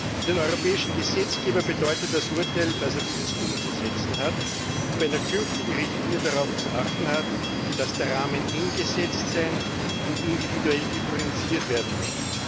Für den europäischen Gesetzgeber bedeutet das Urteil, dass er dieses umzusetzen und bei einer künftigen Richtlinie darauf zu achten hat, dass der Rahmen eng gesetzt sein und individuell differenziert werden muss.